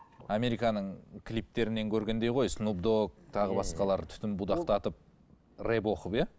американың клиптерінен көргендей ғой тағы басқалары түтін будақтатып рэп оқып иә